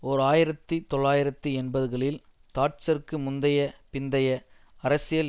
ஓர் ஆயிரத்தி தொள்ளாயிரத்தி எண்பதுகளில் தாட்சருக்கு முந்தைய பிந்தைய அரசியல்